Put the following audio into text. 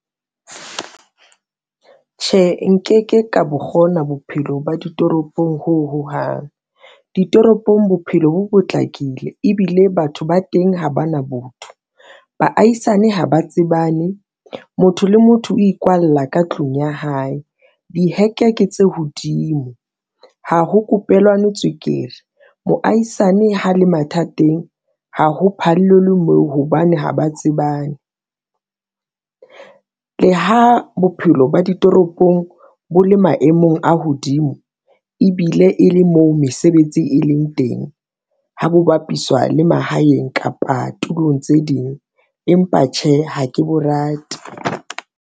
Tjhe, nkeke ka bo kgona bophelo ba ditoropong, ho hohang ditoropong, bophelo bo potlakile ebile batho ba teng ha ba na botho. Baahisane ha ba tsebane, motho le motho o ikwalla ka tlung ya hae. Diheke ke tse hodimo ha ho kopelwane tswekere, moahisane ha le mathateng ha ho phallelwe moo hobane ha ba tsebane, le ha bophelo ba ditoropong bo le maemong a hodimo ebile e le moo mesebetsi e leng teng, ha bo bapiswa le mahaeng kapa tulong tse ding, empa tjhe ha ke bo rate.